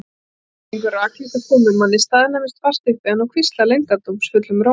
Hann gengur rakleitt að komumanni, staðnæmist fast upp við hann og hvíslar leyndardómsfullum rómi